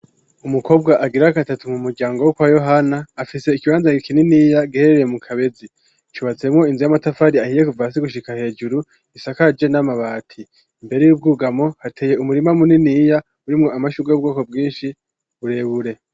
Umukobwa agira akatatu mu muryango wo kwa yohana afise ikibanza kinini iya giherereye mu kabezi cubatsemwo inzu y'amatafari ahiye kuva gushika hejuru isakaje n'amabati imbere y'ubwugamo hateye umurima muniniya uri mumashugwe y'ubwoko bwinshi burebure.